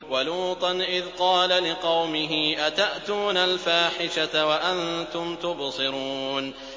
وَلُوطًا إِذْ قَالَ لِقَوْمِهِ أَتَأْتُونَ الْفَاحِشَةَ وَأَنتُمْ تُبْصِرُونَ